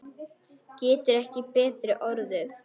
Getur ekki betri orðið.